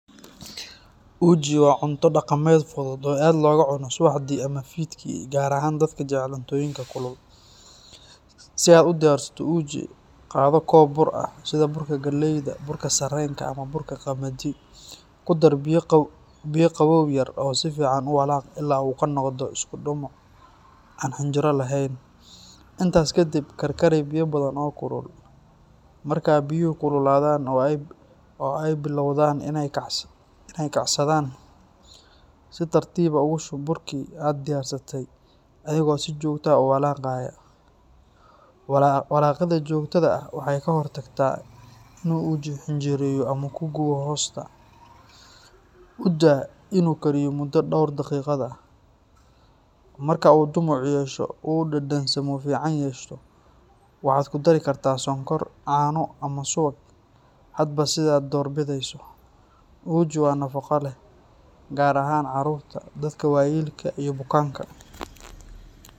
Uji waa cunto dhaqameed fudud oo aad loogu cuno subaxdii ama fiidkii, gaar ahaan dadka jecel cuntooyinka kulul. Si aad u diyaarsato uji, qaado koob bur ah, sida burka galleyda, burka sarreenka, ama burka qamadi. Ku dar biyo qabow yar oo si fiican u walaaq ilaa uu ka noqdo isku dhumuc aan xinjiro lahayn. Intaas ka dib, karkari biyo badan oo kulul. Marka biyuhu kululaadaan oo ay bilowdaan inay kacsadaan, si tartiib ah ugu shub burkii aad diyaarsatay adigoo si joogto ah u walaaqaya. Walaaqida joogtada ah waxay ka hortagtaa inuu uji xinjireeyo ama ku gubo hoosta. U daa inuu kariyo muddo dhowr daqiiqo ah. Marka uu dhumuc yeesho oo uu dhadhansamo fiican yeesho, waxaad ku dari kartaa sonkor, caano, ama subag hadba sidaad doorbideyso. Uji waa nafaqo leh, gaar ahaan carruurta, dadka waayeelka ah iyo bukaanka.